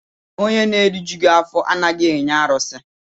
Onye na-erijughị afọ anaghị enye arụsị.